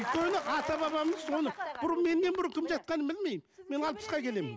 өйткені ата бабамыз оны бұрын менен бұрын кім жатқанын білмеймін мен алпысқа келемін